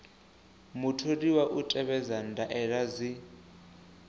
mutholiwa u tevhedza ndaela dzi